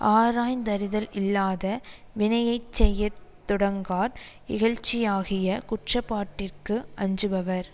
ஆராய்ந்தறிதல் இல்லாத வினையை செய்ய தொடங்கார் இகழ்ச்சியாகிய குற்றப்பாட்டிற்கு அஞ்சுபவர்